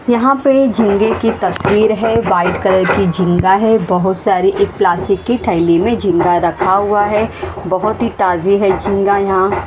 यहां पे ये झंडे की तस्वीर है व्हाइट कलर की झींगा है बहुत सारी एक प्लासिक की ठैली मे झींगा रखा हुआ है बहोत ही ताजे है झींगा यहां।